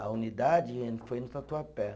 A unidade eh, foi no Tatuapé.